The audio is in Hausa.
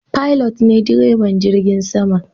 Pilot ne direban jirgin sama.